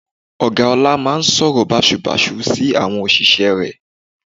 Ọ̀gá ọlá máa ń sọ̀rọ̀ bàsubàsu sí àwọn òṣìṣẹ́ rẹ̀